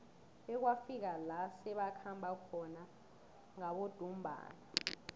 bekwafika la sebakhamba khona ngabodumbana